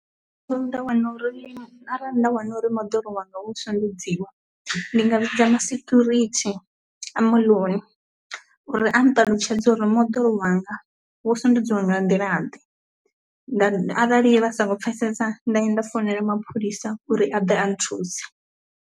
nda wana uri arali nda wana uri moḓoro wanga wo tswiwa nd ndi nga vhidza ma security a moḽoni uri a nṱalutshedze uri moḓoro wanga wo sendedziwa nga nḓila ḓe, nda arali vha sa kho mpfesesa nda i nda foinela mapholisa uri a ḓe a nthuse.